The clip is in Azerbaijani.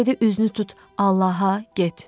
Dedi üzünü tut Allaha, get.